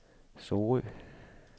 Sorø